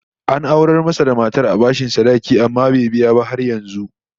An aurar masa da matar da bashin sadaki, amma bai biya ba har yanzu